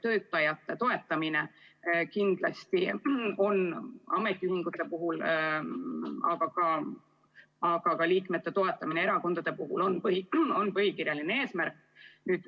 Töötajate toetamine kindlasti on ametiühingute puhul, aga ka liikmete toetamine erakondade puhul põhikirjaline eesmärk.